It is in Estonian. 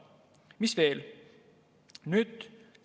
Mis veel?